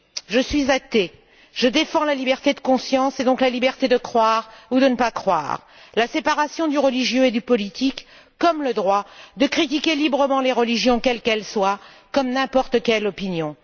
Je suis athée, je défends la liberté de conscience et donc la liberté de croire ou de ne pas croire, la séparation du religieux et du politique, mais aussi le droit de critiquer librement les religions, quelles qu'elles soient, comme n'importe quelle opinion.